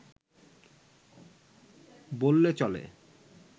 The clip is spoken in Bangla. বললে চলে